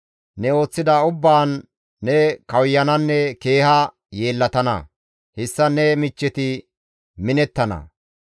Ne ooththida ubbaan ne kawuyananne keeha yeellatana; hessan ne michcheti minettana.